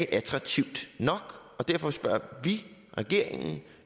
attraktivt nok og derfor spørger vi regeringen